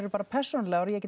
bara persónulegar og ég get